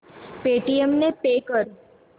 Paytm ने pay कर